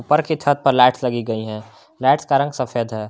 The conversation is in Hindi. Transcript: ऊपर की छत पर लाइट्स लगी गई हैं लाइट्स का रंग सफेद है।